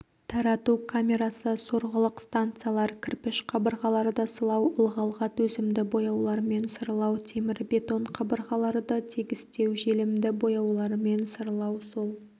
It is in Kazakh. тарату камерасы сорғылық станциялар кірпіш қабырғаларды сылау ылғалға төзімді бояулармен сырлау темірбетон қабырғаларды тегістеу желімді бояулармен сырлау сол